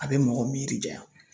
A bɛ mɔgɔ miiri janya